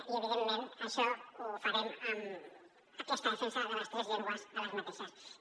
i evidentment això ho farem amb aquesta defensa de les tres llengües a les universitats